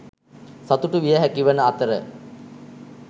සතුටු විය හැකිවන අතර